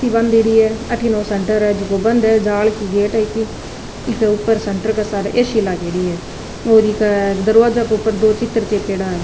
बान्धेरी है अठीने सेंटर है जेको बंद है जाल को गेट है की ईके ऊपर सेंटर का सहारे ए सी लागेड़ी है और ईका दरवाजा के ऊपर दो चित्र चेपेडा है।